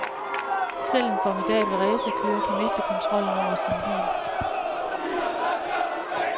Selv en formidabel racerkører kan miste kontrollen over sin bil.